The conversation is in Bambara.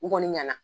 U kɔni ɲɛna